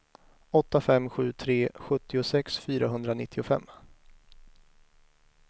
åtta fem sju tre sjuttiosex fyrahundranittiofem